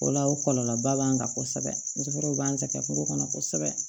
O la o kɔlɔlɔba b'an kan kosɛbɛ musokɔrɔba b'an sɛgɛn foro kɔnɔ kosɛbɛ